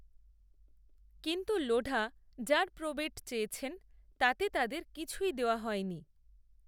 কিন্ত্ত লোঢা যার প্রবেট চেয়েছেন তাতে তাঁদের কিছুই দেওয়া হয়নি